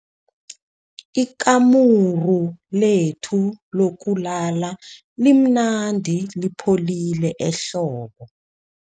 Ikamuru lethu lokulala limnandi lipholile ehlobo.